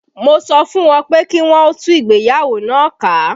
Mo sọ fún wọn pé kí wọn ó tú ìgbéyàwó náà ká